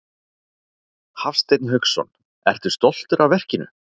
Hafsteinn Hauksson: Ertu stoltur af verkinu?